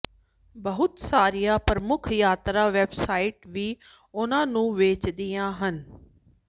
ਬਹੁਤ ਸਾਰੀਆਂ ਪ੍ਰਮੁੱਖ ਯਾਤਰਾ ਵੈੱਬਸਾਈਟ ਵੀ ਉਨ੍ਹਾਂ ਨੂੰ ਵੇਚਦੀਆਂ ਹਨ